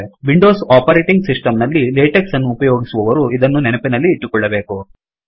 Windows operating system ನಲ್ಲಿ LaTeX ಅನ್ನು ಉಪಯೋಗಿಸುವವರು ಇದನ್ನು ನೆನಪಿನಲ್ಲಿ ಇಟ್ಟುಕೊಳ್ಳಬೇಕು